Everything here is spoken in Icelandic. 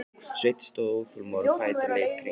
Sveinn stóð óþolinmóður á fætur og leit í kringum sig.